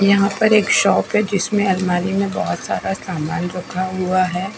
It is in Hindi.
यहाँ पर एक शॉप है जिसमे अलमारी में बहोत सारा सामान रखा हुआ है।